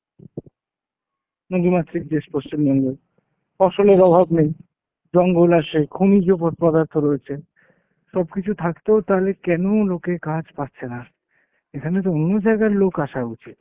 নদীমাতৃক দেশ পশ্চিমবঙ্গ। ফসলের অভাব নেই, জঙ্গল আছে, খনিজ প~ পদার্থ রয়েছে। সবকিছু থাকতেও তাহলে কেন লোকে কাজ পাচ্ছে না? এখানে তো অন্য জায়গার লোক আসা উচিত।